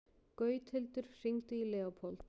Gauthildur, hringdu í Leópold.